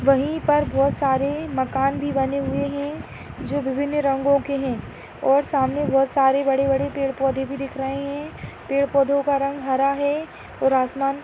वही पर बहुत सारे मकान भी बने हुए है जो विभिन्न रंगो के है और सामने बहुत सारी बड़ी बड़ी पेड़ पौंधे भी दिख रही है पेड़ पौंधे का रंग हरा है और आसमान --